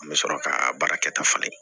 An bɛ sɔrɔ ka baara kɛ ta fana